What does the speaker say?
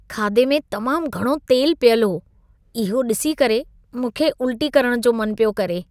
खाधे में तमाम घणो तेल पियल हो। इहो ॾिसी करे, मूंखे उल्टी करण जो मन पियो करे।